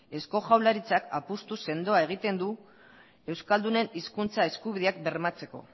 eusko jaurlaritzak apustu sendoa egiten duela euskaldunen hizkuntza eskubideak bermatzeko